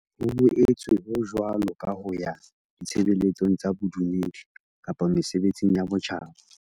Ho boetse ho jwalo ka ho ya ditshebeletsong tsa bodumedi kapa mesebetsing ya botjhaba.